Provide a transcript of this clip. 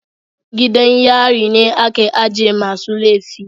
Gidan yari ne ake ajiye masu laifi